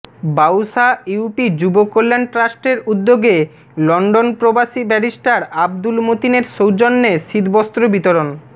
Bausa UP যুব কল্যাণ ট্রাষ্টের উদ্যোগে লন্ডন প্রবাসী ব্যারিষ্টার আব্দুল মতিনের সৌজন্যে শীতবস্ত্র বিতরণ